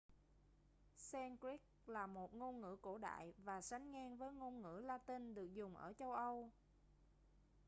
sanskrit là một ngôn ngữ cổ đại và sánh ngang với ngôn ngữ la-tinh được dùng ở châu âu